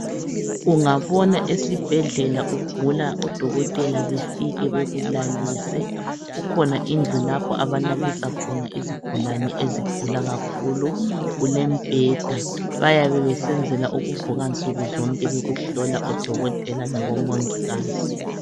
Ungabona esibhedlela ugula odokotela befike bakulalise, kukhona indlu lapho abalalisa khona izigulane ezigula kakhulu. Kulembheda, bayabe besenzela ukuvuka nsukuzonke bekuhlola odokotela labomongikazi.